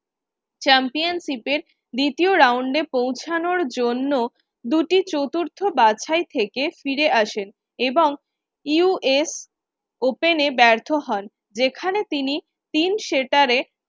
championship এর দ্বিতীয় round এ পৌঁছানোর জন্য দুটি চতুর্থ বাছাই থেকে ফিরে আসেন এবং US Open এ ব্যর্থ হন যেখানে তিনি